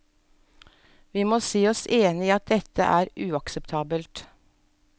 Vi må si oss enig i at dette er uakseptabelt.